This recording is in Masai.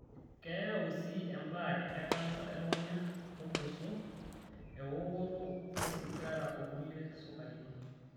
Keyau sii ebaare e kansa elukunya olgoso, ewokoto osigara o kulie sukarini.